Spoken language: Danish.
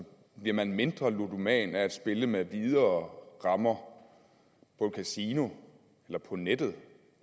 bliver man mindre ludoman af at spille med videre rammer på et kasino eller på nettet